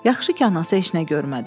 Yaxşı ki, anası heç nə görmədi.